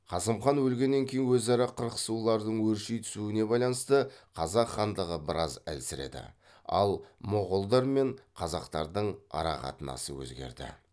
қасым хан өлгеннен кейін өзара қырқысулардың өрши түсуіне байланысты қазақ хандығы біраз әлсіреді ал моғолдар мен қазақтардың арақатынасы өзгерді